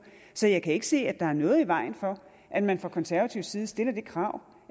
så jeg kan ikke se at der er noget i vejen for at man fra konservativ side stiller det krav